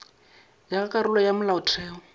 ya ka karolo ya molaotheo